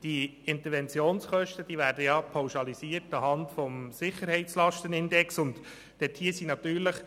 Die Interventionskosten werden bekanntlich anhand des Sicherheitslastenindexes pauschalisiert;